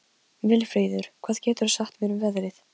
Vilfríður, hvað geturðu sagt mér um veðrið?